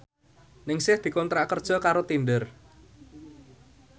Ningsih dikontrak kerja karo Tinder